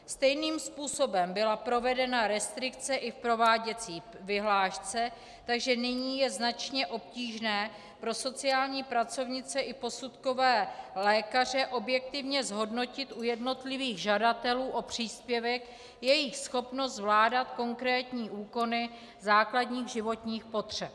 Stejným způsobem byla provedena restrikce i v prováděcí vyhlášce, takže nyní je značně obtížné pro sociální pracovnice i posudkové lékaře objektivně zhodnotit u jednotlivých žadatelů o příspěvek jejich schopnost zvládat konkrétní úkony základních životních potřeb.